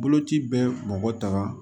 Boloci bɛ bɔgɔ tan